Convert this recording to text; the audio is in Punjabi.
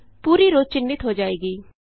ਪੂਰੀ ਰੋਅ ਚਿੰਨ੍ਹਿਤ ਹੋ ਜਾਏਗੀ